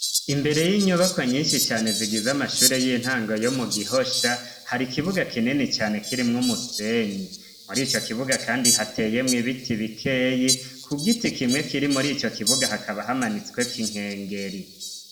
imbere y'inyubako nyinshi cane zigiza amashuri y'intango yomu gihosha hari ikibuga kinini cane kiri mwumusenyi muri ico kibuga kandi hateyemwo ibiti bikeyi ku giti kimwe kiri muri ico kibuga hakaba hamanitsweko ikinkengeri